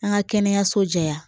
An ka kɛnɛyaso jɛ